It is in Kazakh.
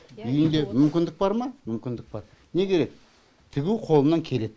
үйінде мүмкіндік бар ма мүмкіндік бар неге тігу қолынан келеді